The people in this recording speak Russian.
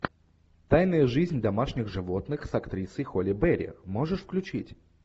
тайная жизнь домашних животных с актрисой холли берри можешь включить